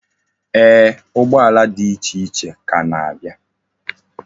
Eeh, ụgbọala di iche iche ka na-abia.